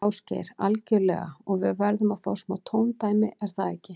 Ásgeir: Algjörlega og við verðum að fá smá tóndæmi, er það ekki?